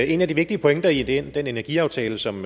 en af de vigtige pointer i den energiaftale som